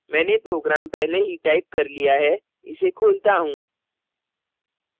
मैने program पहले ही टाइप कर दिया है इसे खोलता हूँ